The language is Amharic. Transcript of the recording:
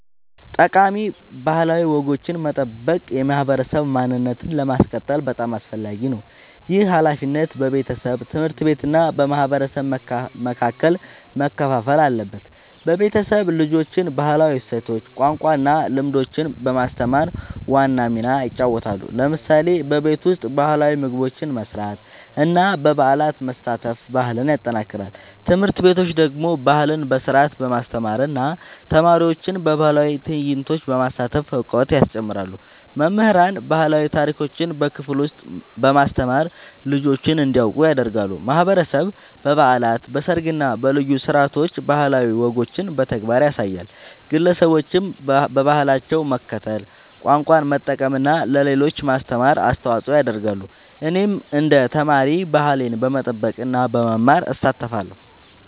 ጠቃሚ ባህላዊ ወጎችን መጠበቅ የማህበረሰብ ማንነትን ለማስቀጠል በጣም አስፈላጊ ነው። ይህ ሃላፊነት በቤተሰብ፣ ትምህርት ቤት እና በማህበረሰብ መካከል መከፋፈል አለበት። ቤተሰብ ልጆችን ባህላዊ እሴቶች፣ ቋንቋ እና ልምዶች በማስተማር ዋና ሚና ይጫወታል። ለምሳሌ በቤት ውስጥ ባህላዊ ምግቦች መስራት እና በበዓላት መሳተፍ ባህልን ያጠናክራል። ትምህርት ቤቶች ደግሞ ባህልን በስርዓት በማስተማር እና ተማሪዎችን በባህላዊ ትዕይንቶች በማሳተፍ እውቀት ያስጨምራሉ። መምህራን ባህላዊ ታሪኮችን በክፍል ውስጥ በማስተማር ልጆች እንዲያውቁ ያደርጋሉ። ማህበረሰብ በበዓላት፣ በሰርግ እና በልዩ ስነ-ስርዓቶች ባህላዊ ወጎችን በተግባር ያሳያል። ግለሰቦችም በባህላቸው መከተል፣ ቋንቋ መጠቀም እና ለሌሎች ማስተማር አስተዋጽኦ ያደርጋሉ። እኔም እንደ ተማሪ ባህሌን በመጠበቅ እና በመማር እሳተፋለሁ።